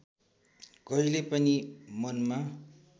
कहिले पनि मनमा